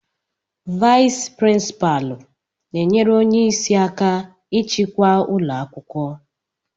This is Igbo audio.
Vais prínpalu na enyere ónyé ịsị aka ịchịkwa ụlọakwụkwọ.